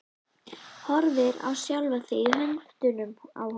Horfir á sjálfa sig í höndunum á honum.